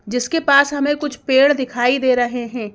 जिसके पास हमें कुछ पेड़ दिखाई दे रहे हैं।